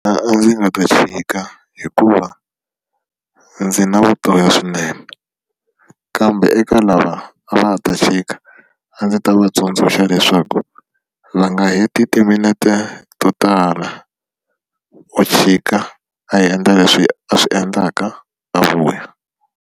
a ndzi nga ta chika hikuva ndzi na vutoyo swinene kambe eka lava a va ta chika a ndzi ta va tsundzuxa leswaku va nga heti timinete to tala o chika a endla leswi a swi endlaka a vuya.